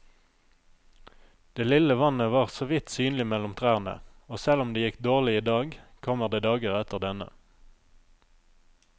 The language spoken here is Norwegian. Det lille vannet var såvidt synlig mellom trærne, og selv om det gikk dårlig i dag, kommer det dager etter denne.